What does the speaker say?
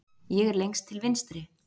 Ég er lengst til vinstri.